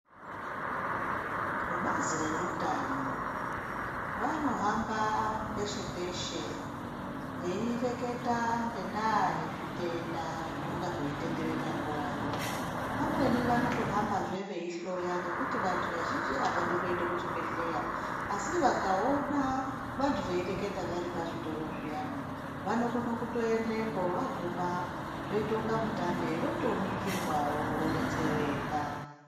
Vebazi reutano vanohamba peshe-peshe, veireketa ngendaa yezvitenda zvinonga zveitenderera nguvayo. Pamweni vanotohambazve veihloya ngekuti vantu vazhinji havadi kuende kuchibhedhleya. Asi vakaona vantu veireketa vari pazvitoro zviyani vanokone kutoendepo vaguma zvoita kunga mutambe votoningirwavo vobetsereka.